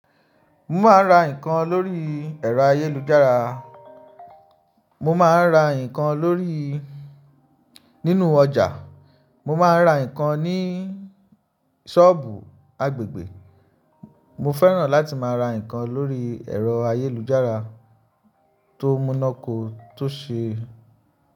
Mo máa ń ra nǹkan lórí ẹ̀rọ ayélujára. Mo máa ń ra nǹkan lórí nínú ọjà. Mo máa ń ra nǹkan ní ṣọ́ọ̀bù agbègbè. Mo fẹ́ràn láti máa ra nǹkan lórí ẹ̀rọ ayélujára tó múná kó tó ṣe.